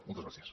moltes gràcies